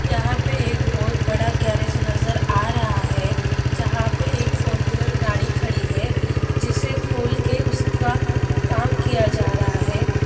यहाँ पर एक बहुत बड़ा गैरेज नज़र आ रहा है जहाँ पे एक फोर विल्हेर गाड़ी खड़ी है जिसे खोल के उसका काम किया जा रहा है।